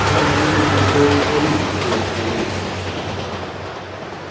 вам придётся удовлетвориться тем что есть